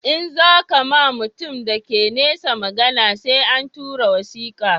In za ka ma mutum da ke nesa magana sai an tura wasika